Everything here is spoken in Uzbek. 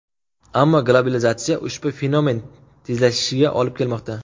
Ammo globalizatsiya ushbu fenomen tezlashishiga olib kelmoqda.